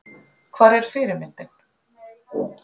Hvar er fyrirmyndin?